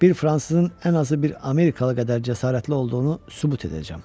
Bir fransızın ən azı bir amerikalı qədər cəsarətli olduğunu sübut edəcəm.